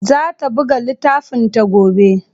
Zata buga littafinta gobe.